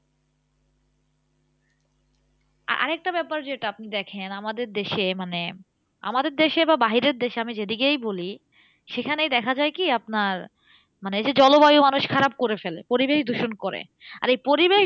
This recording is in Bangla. আরেকটা ব্যাপার যেটা আপনি দেখেন, আমাদের দেশে মানে, আমাদের দেশে বা বাহিরের দেশে আমি যেদিকেই বলি, সেখানেই দেখা যায় কি? আপনার মানে এই যে জলবায়ু মানুষ খারাপ করে ফেলে। পরিবেশ দূষণ করে। আর এই পরিবেশ